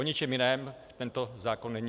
O ničem jiném tento zákon není.